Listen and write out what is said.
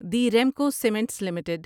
the Remco cements limited